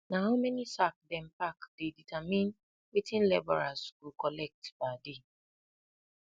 na how many sack dem pack dey determine wetin labourers go collect per day